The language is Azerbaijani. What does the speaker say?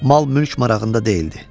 Mal-mülk marağında deyildi.